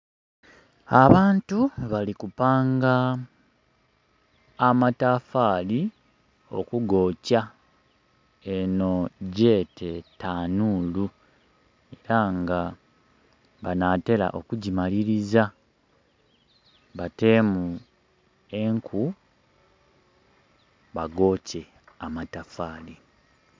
Abantu bali kupanga amatafali okugokya eno gyete tanuulu era nga banatera okugimaliriza batemu enku bagokye amatafari.